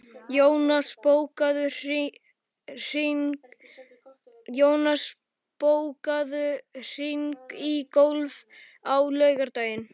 Jónas, bókaðu hring í golf á laugardaginn.